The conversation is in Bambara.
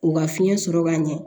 U ka fiɲɛ sɔrɔ ka ɲɛ